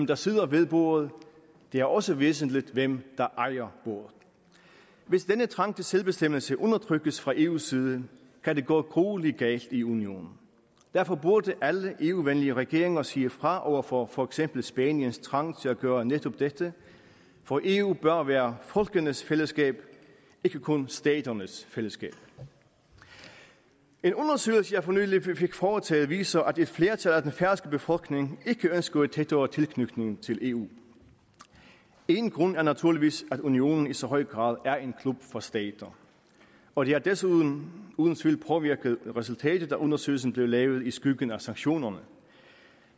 der sidder ved bordet det er også væsentligt hvem der ejer bordet hvis denne trang til selvbestemmelse undertrykkes fra eus side kan det gå gruelig galt i unionen derfor burde alle eu venlige regeringer sige fra over for for eksempel spaniens trang til at gøre netop dette for eu bør være folkenes fællesskab ikke kun staternes fællesskab en undersøgelse jeg for nylig fik foretaget viser at et flertal af den færøske befolkning ikke ønsker en tættere tilknytning til eu én grund er naturligvis at unionen i så høj grad er en klub for stater og det har desuden uden tvivl påvirket resultatet at undersøgelsen blev lavet i skyggen af sanktionerne